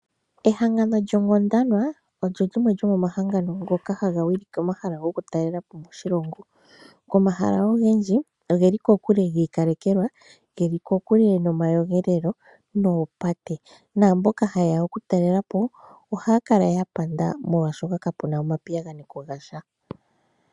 Ehangano lyoGodwana, olyo limwe lyomohangano ngoka haga wilike omahala gomatalelopo moshilongo. Omahala ogendji ogeli kokule gi ikalekelwa, geli kokule nomakuyunguto noopate. Naamboka ha ye ya okutalelapo, ohaya kala ya nyanyukwa molwaashoka kapu na omapiyagano gasha.